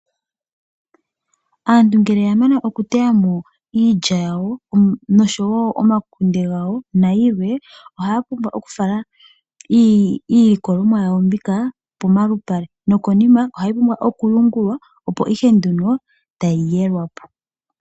Aantu ngele ya mana okuteya mo iilya yawo nosho wo omakunde gawo nayilwe, ohaya pumbwa oku fala iilikolomwa yawo mbika pomalupale nokonima ohayi pumbwa oku yungulwa opo ihe nduno tayi yelwa po.